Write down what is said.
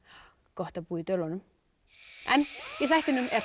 gott að búa í Dölunum en í þættinum er